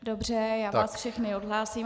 Dobře, já vás všechny odhlásím.